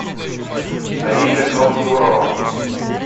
наиля гондурова